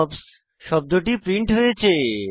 hops শব্দটি print হয়েছে